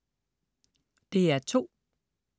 DR2: